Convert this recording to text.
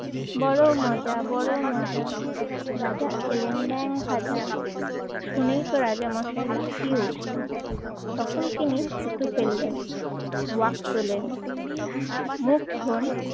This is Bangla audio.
বড় মজা, বড় মজা রাজা খেলেন ব্যাঙ ভাজা। শুনেই তো রাজামশাই লাফিয়ে উঠলেন তখন তিনি থুতু ফেললেন, ওয়াক তোলেন মুখ ধন